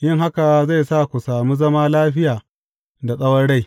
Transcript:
Yin haka zai sa ku sami zaman lafiya da tsawon rai.